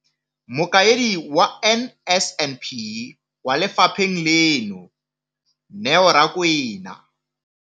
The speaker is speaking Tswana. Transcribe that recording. Mokaedi wa NSNP kwa lefapheng leno, Neo Rakwena.